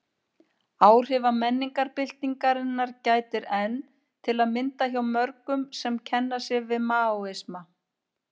Áhrifa menningarbyltingarinnar gætir enn, til að mynda hjá mörgum sem kenna sig við Maóisma.